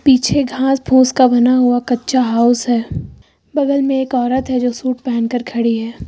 पीछे घास फूस का बना कच्चा हाउस है बगल में एक औरत जो शूट पहन के खड़ी है।